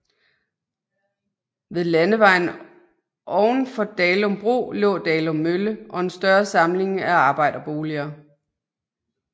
Ved Landevejen oven for Dalum Bro lå Dalum Mølle og en større samling af arbejderboliger